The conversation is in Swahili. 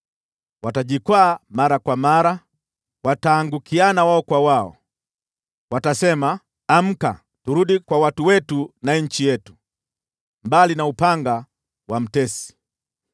Watajikwaa mara kwa mara, wataangukiana wao kwa wao. Watasema, ‘Amka, turudi kwa watu wetu na nchi yetu, mbali na upanga wa mtesi.’